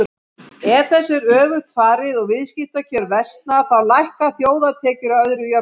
Ef þessu er öfugt farið og viðskiptakjör versna þá lækka þjóðartekjur að öðru jöfnu.